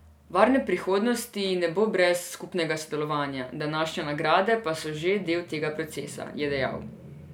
Varne prihodnosti ne bo brez skupnega sodelovanja, današnje nagrade pa so že del tega procesa, je dejal.